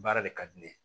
Baara de ka di ne ye